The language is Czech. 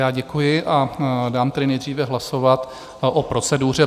Já děkuji a dám tedy nejdříve hlasovat o proceduře.